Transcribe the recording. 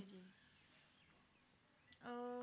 ਜੀ ਜੀ ਅਹ